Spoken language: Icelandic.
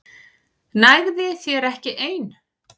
Nægði þér ekki ein?